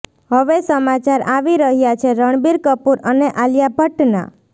હવે સમાચાર આવી રહ્યા છે રણબીર કપૂર અને આલિયા ભટ્ટના